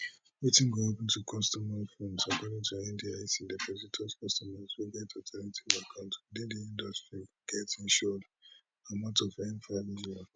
wetin go happun to customer funds according to ndic depositors customers wey get alternate account within di industry get insured amount of n5 million